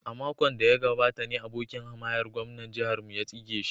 A makon da ya gabata ne abokin hamayyar gwamnan jihar mu ya tsige shi.